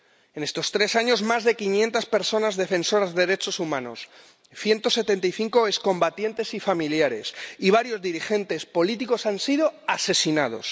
En estos tres años más de 500 personas defensoras de derechos humanos, 175 excombatientes y familiares y varios dirigentes políticos han sido asesinados.